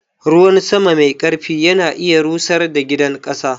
Ruwan sama mai ƙarfi ya na iya rusar da gidan ƙasa.